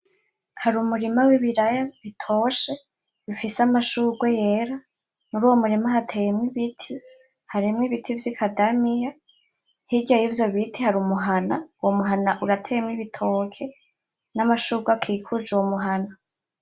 Hari umurima w'ibiraya bitoshe, bifise amashugwe yera. Muri uyo murima hateyemwo ibiti, harimwo ibiti vy'ikadamiya. Hirya yivyo biti hari umuhana, uwo muhana urateyemwo ibitoke n'amashugwe akikuje uyo muhana.